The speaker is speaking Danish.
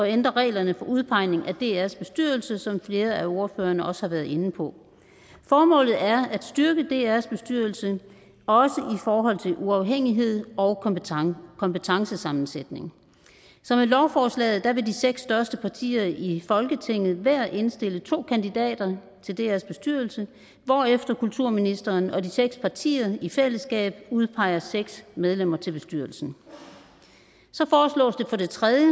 ændre reglerne for udpegning af drs bestyrelse som flere af ordførerne også har været inde på formålet er at styrke drs bestyrelse også i forhold til uafhængighed og kompetencesammensætning så med lovforslaget vil de seks største partier i folketinget hver indstille to kandidater til drs bestyrelse hvorefter kulturministeren og de seks partier i fællesskab udpeger seks medlemmer til bestyrelsen for det tredje